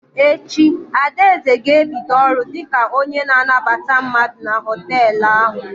Echi, Adaeze ga-ebido ọrụ dị ka onye na anabata mmadụ na họtelụ ahụ.